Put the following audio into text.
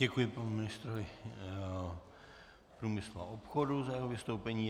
Děkuji panu ministrovi průmyslu a obchodu za jeho vystoupení.